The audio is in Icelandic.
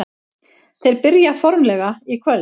Þeir byrja formlega í kvöld.